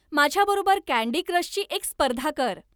माझ्याबरोबर कँडी क्रशची एक स्पर्धा कर.